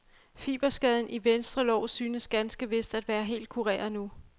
Fiberskaden i venstre lår synes ganske vist at være helt kureret nu.